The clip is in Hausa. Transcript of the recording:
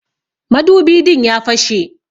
Madubi din ya fashe.